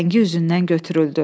Rəngi üzündən götürüldü.